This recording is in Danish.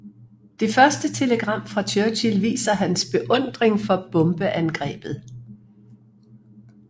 Det første telegram fra Churchill viser hans beundring for bombeangrebet